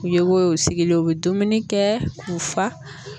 U ye o ye o sigilen u bɛ dumuni kɛ k'u fa.